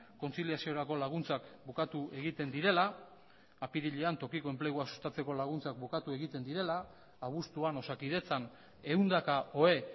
kontziliaziorako laguntzak bukatu egiten direla apirilean tokiko enplegua sustatzeko laguntzak bukatu egiten direla abuztuan osakidetzan ehundaka ohe